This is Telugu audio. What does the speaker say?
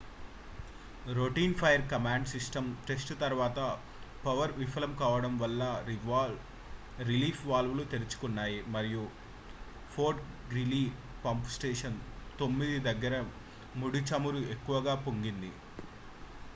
routine fire command system test తరువాత పవర్ విఫలం కావడం వల్ల రిలీఫ్ వాల్వ్ లు తెరుచుకున్నాయి మరియు ఫోర్ట్ గ్రీలీ పంప్ స్టేషన్ 9 దగ్గర ముడి చమురు ఎక్కువగా పొంగింది